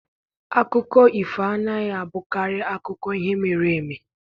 Akụkọ ifo anaghị abụkarị akụkọ ihe mere eme.